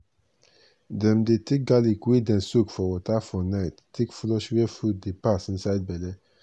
dem dey take garlic wey dem soak for water for night take flush where food dey pass inside belle.